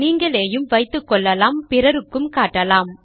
நீங்களேயும் வைத்துக்கொள்ளலாம் பிறருக்கும் காட்டலாம்